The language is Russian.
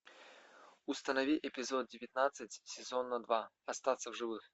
установи эпизод девятнадцать сезона два остаться в живых